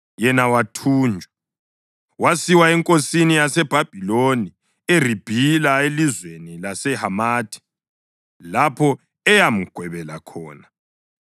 yena wathunjwa. Wasiwa enkosini yaseBhabhiloni eRibhila elizweni laseHamathi, lapho eyamgwebela khona.